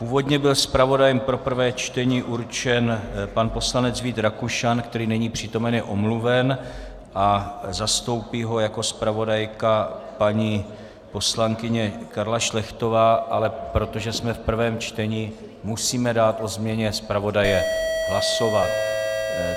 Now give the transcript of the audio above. Původně byl zpravodajem pro prvé čtení určen pan poslanec Vít Rakušan, který není přítomen, je omluven, zastoupí ho jako zpravodajka paní poslankyně Karla Šlechtová, ale protože jsme v prvém čtení, musíme dát o změně zpravodaje hlasovat.